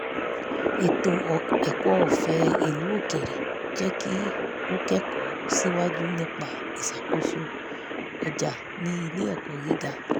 ètò ẹ̀kọ́ ọ̀fé ìlú òkèrè jẹ́ kí ó kẹ́kọ̀ọ́ síwájú nípa ìṣàkóso ọjà ní ilé-ẹ̀kọ́ gíga